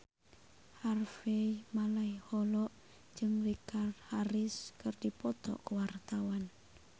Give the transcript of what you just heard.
Harvey Malaiholo jeung Richard Harris keur dipoto ku wartawan